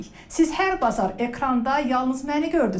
Siz hər bazar ekranda yalnız məni gördünüz.